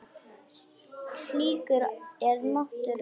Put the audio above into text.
Slíkur er máttur Lenu.